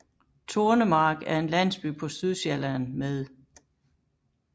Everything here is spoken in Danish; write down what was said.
Tornemark er en landsby på Sydsjælland med